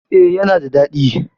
E, yana da daɗi.